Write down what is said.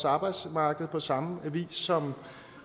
arbejdsmarked på samme vis som